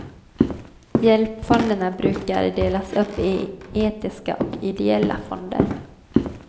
Hjälpfonderna brukar delas upp i etiska och ideella fonder.